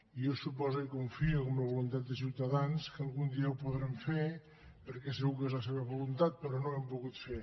i jo suposo i confio que amb la voluntat de ciutadans algun dia ho podrem fer perquè segur que és la seva voluntat però no ho hem pogut fer